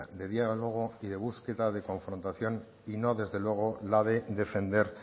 de diálogo y de búsqueda de confrontación y no desde luego la de defender